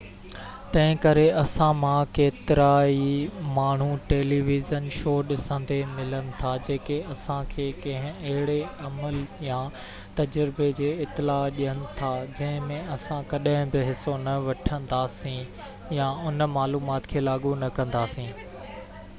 تنهنڪري اسان مان ڪيترائي ماڻهو ٽيلي ويزن شو ڏسندي ملن ٿا جيڪي اسان کي ڪنهن اهڙي عمل يا تجربي جي اطلاع ڏين ٿا جنهن ۾ اسان ڪڏهن بہ حصو نہ وٺنداسين يا ان معلومات کي لاڳو نہ ڪنداسين